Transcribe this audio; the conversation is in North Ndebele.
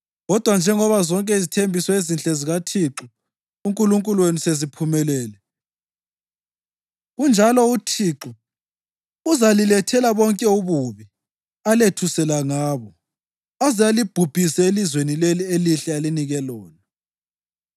Kodwa njengoba zonke izithembiso ezinhle zikaThixo uNkulunkulu wenu seziphumelele, kunjalo uThixo uzalilethela bonke ububi alethusela ngabo, aze alibhubhise elizweni leli elihle alinike lona.